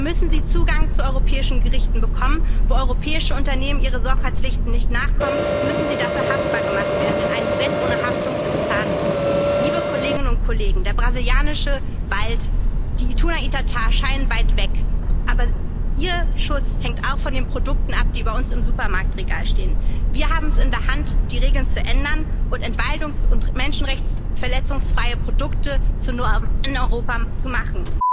Deshalb müssen sie Zugang zu europäischen Gerichten bekommen. Wo europäische Unternehmen ihren Sorgfaltspflichten nicht nachkommen, müssen sie dafür haftbar gemacht werden, denn ein Gesetz ohne Haftung ist zahnlos. Der brasilianische Wald, die Ituna Itatá scheinen weit weg, aber ihr Schutz hängt auch von den Produkten ab, die bei uns im Supermarktregal stehen. Wir haben es in der Hand, die Regeln zu ändern und entwaldungs und menschenrechtsverletzungsfreie Produkte zur Norm in Europa zu machen.